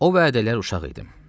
O vədə lər uşaq idim.